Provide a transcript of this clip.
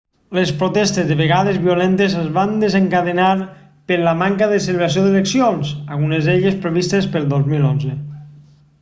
les protestes de vegades violentes es van desencadenar per la manca de celebració d'eleccions algunes d'elles previstes pel 2011